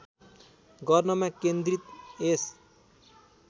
गर्नमा केन्द्रित यस